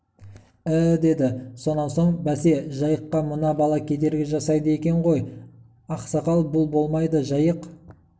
і-і деді сонан соң бәсе жайыққа мына бала кедергі жасайды екен ғой ақсақал бұл болмайды жайық